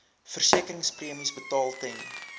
versekeringspremies betaal ten